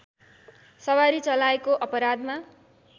सवारी चलाएको अपराधमा